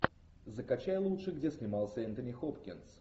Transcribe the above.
закачай лучше где снимался энтони хопкинс